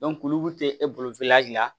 olu tɛ e bolo hali